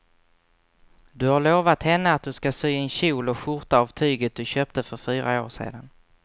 Du har lovat henne att du ska sy en kjol och skjorta av tyget du köpte för fyra år sedan.